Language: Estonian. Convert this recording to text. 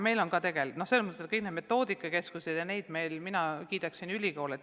Meil on tegelikult kõik need metoodikakeskused olemas ja mina kiidaksin ülikoole.